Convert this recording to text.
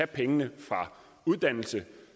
pengene fra uddannelse